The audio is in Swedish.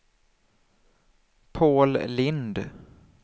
Paul Lind